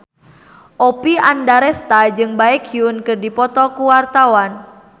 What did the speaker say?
Oppie Andaresta jeung Baekhyun keur dipoto ku wartawan